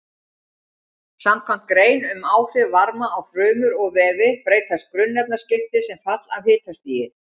Samkvæmt grein um áhrif varma á frumur og vefi breytast grunnefnaskipti sem fall af hitastigi.